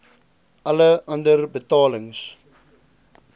alle ander betalings